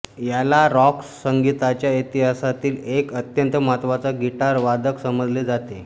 याला रॉक संगीताच्या इतिहासातील एक अत्यंत महत्त्वाचा गिटार वादक समजले जाते